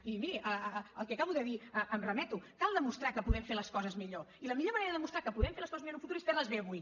i miri al que acabo de dir em remeto cal demostrar que podem fer les coses millor i la millor manera de demostrar que podem fer les coses millor en un futur és fer les bé avui